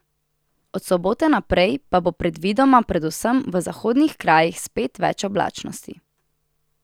Od sobote naprej pa bo predvidoma predvsem v zahodnih krajih spet več oblačnosti.